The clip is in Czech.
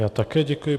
Já také děkuji.